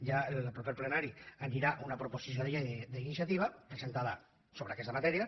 ja al proper plenari hi anirà una proposició de llei d’iniciativa presentada sobre aquesta matèria